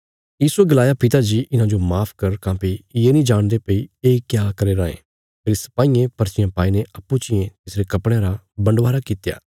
यीशुये गलाया पिता जी इन्हांजो माफ कर काँह्भई ये नीं जाणदे भई ये क्या करी रायें फेरी सपाईयें पर्चियां पाईने अप्पूँ चियें तिसरे कपड़यां रा बन्डवारा कित्या